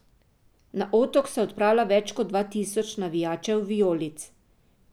Na Otok se odpravlja več kot dva tisoč navijačev vijolic.